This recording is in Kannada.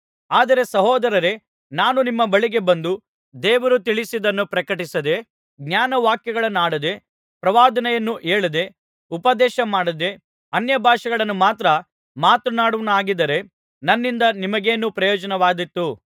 ಆದರೆ ಸಹೋದರರೇ ನಾನು ನಿಮ್ಮ ಬಳಿಗೆ ಬಂದು ದೇವರು ತಿಳಿಸಿದ್ದನ್ನು ಪ್ರಕಟಿಸದೆ ಜ್ಞಾನವಾಕ್ಯಗಳನ್ನಾಡದೆ ಪ್ರವಾದನೆಯನ್ನು ಹೇಳದೆ ಉಪದೇಶಮಾಡದೆ ಅನ್ಯಭಾಷೆಗಳನ್ನು ಮಾತ್ರ ಮಾತನಾಡುವವನಾಗಿದ್ದರೆ ನನ್ನಿಂದ ನಿಮಗೇನು ಪ್ರಯೋಜನವಾದೀತು